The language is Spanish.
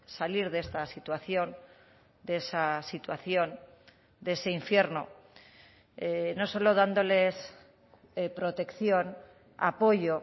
salir de esta situación de esa situación de ese infierno no solo dándoles protección apoyo